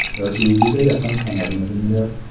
Yoki juda yaqin tanirmidinglar?